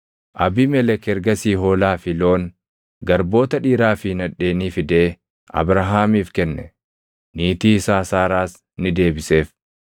Abiimelek ergasii hoolaa fi loon, garboota dhiiraa fi nadheenii fidee Abrahaamiif kenne; niitii isaa Saaraas ni deebiseef.